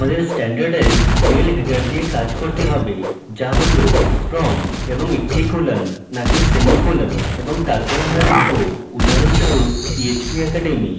আমাদের standardised mail header নিয়ে কাজ করতে হবে যা হল from: এবং একটি colon নাকি সেমিকোলন এবং তারপর আমরা লিখব উদাহরণস্বরূপ php academy